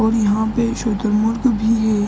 और यहाँ पे शुतुरमुर्ग भी है।